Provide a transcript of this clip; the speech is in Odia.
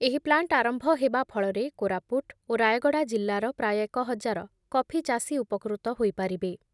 ଏହି ପ୍ଲାଣ୍ଟ ଆରମ୍ଭ ହେବା ଫଳରେ କୋରାପୁଟ୍ ଓ ରାୟଗଡ଼ା ଜିଲ୍ଲାର ପ୍ରାୟ ଏକ ହଜାର କଫିଚାଷୀ ଉପକୃତ ହୋଇପାରିବେ ।